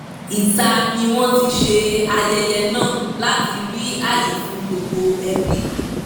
ìta ni wọ́n ti ṣe ayẹyẹ náà láti rí àyè fún gbogbo ẹbí